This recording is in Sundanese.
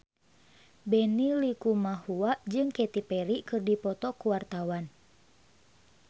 Benny Likumahua jeung Katy Perry keur dipoto ku wartawan